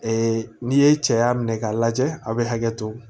n'i ye cɛya minɛ k'a lajɛ a bɛ hakɛ to